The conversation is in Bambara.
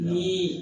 Ni